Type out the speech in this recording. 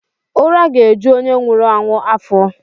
Ura ga-eju onye nwuru anwu afo.